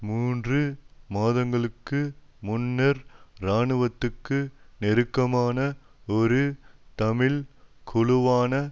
மூன்று மாதங்களுக்கு முன்னர் இராணுவத்துக்கு நெருக்கமான ஒரு தமிழ் குழுவான